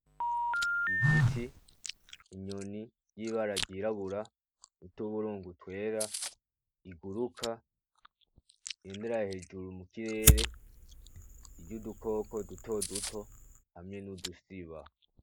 Igiti, inyoni yibara ryirabura , nutuburungu twera, iguruka, igendera hejuru mu kirere irya udukoko dutoduto hamwe nudusiba.